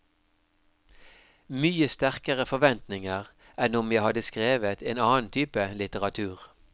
Mye sterkere forventninger enn om jeg hadde skrevet en annen type litteratur.